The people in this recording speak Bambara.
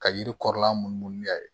Ka yiri kɔrɔla munumunu n'a ye